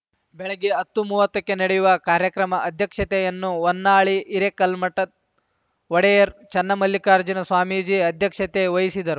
ಬೆಳಗ್ಗೆ ಹತ್ತು ಮೂವತ್ತಕ್ಕೆ ನಡೆಯುವ ಕಾರ್ಯಕ್ರಮ ಅಧ್ಯಕ್ಷತೆಯನ್ನು ಹೊನ್ನಾಳಿ ಹಿರೇಕಲ್ಮಠದ್ ಒಡೆಯರ್ ಚೆನ್ನಮಲ್ಲಿಕಾರ್ಜುನ ಸ್ವಾಮೀಜಿ ಅಧ್ಯಕ್ಷತೆ ವಹಿಸಿದರು